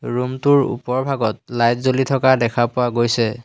Room টোৰ ওপভাগত light জ্বলি থকা দেখা পোৱা গৈছে।